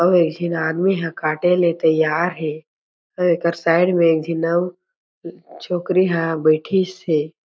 अउ एक झीन आदमी ह काटे ले तैयार हे अउ एकर साइट में एक झन आउर छोकरी ह बईठीस हे।